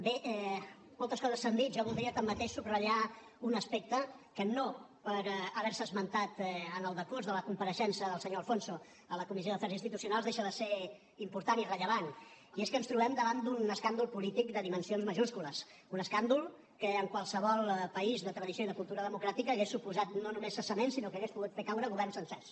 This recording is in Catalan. bé moltes coses s’han dit jo voldria tanmateix subratllar un aspecte que no per haver se esmentat en el decurs de la compareixença del senyor de alfonso a la comissió d’afers institucionals deixa de ser important i rellevant i és que ens trobem davant d’un escàndol polític de dimensions majúscules un escàndol que en qualsevol país de tradició i de cultura democràtica hauria suposat no només cessament sinó que hauria pogut fer caure governs sencers